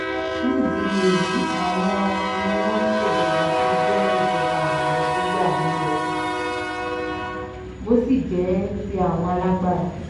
nídìí èyí àwọn ni wọ́n ń ṣèjọba bó jẹ́ ìjọba àwọn sójà ni ò bó sì jẹ́ ti àwọn alágbárà